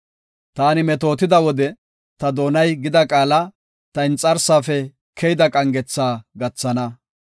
Ta metootida wode ta doonay gida qaala, ta inxarsaafe keyida qangetha gathana.